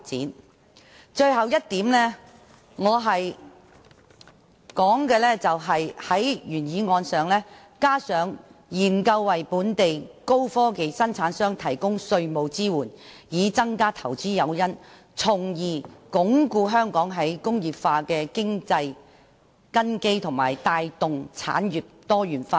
我在原議案加入的最後一點是"研究為本地高科技生產商提供稅務支援，以增加投資誘因，從而鞏固香港'再工業化'的經濟根基及帶動產業多元化"。